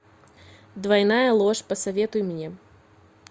двойная ложь посоветуй мне